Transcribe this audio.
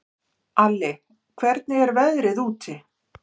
Alli, hvernig er veðrið úti?